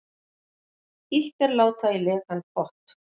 Illt er láta í lekan pott.